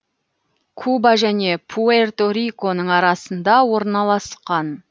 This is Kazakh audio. куба және пуэрто риконың арасында орналасқан